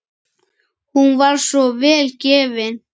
Hún var svo vel gefin.